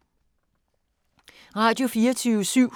Radio24syv